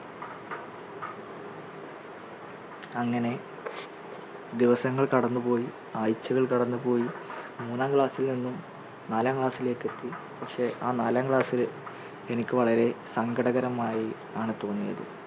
അങ്ങനെ ദിവസങ്ങൾ കടന്നുപോയി ആഴ്ചകൾ കടന്നുപോയി മൂന്നാം class ൽ നിന്നും നാലാം class ലേക്ക് എത്തി പക്ഷേ ആ നാലാം class ല് എനിക്ക് വളരെ സങ്കടകരമായി ആണ് തോന്നിയത്